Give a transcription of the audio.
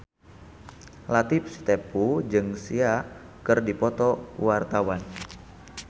Latief Sitepu jeung Sia keur dipoto ku wartawan